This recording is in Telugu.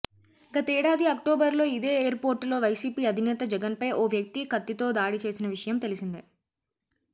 గతేడాది అక్టోబర్లో ఇదే ఎయిర్పోర్టులో వైసీపీ అధినేత జగన్పై ఓ వ్యక్తి కత్తితో దాడి చేసిన విషయం తెలిసిందే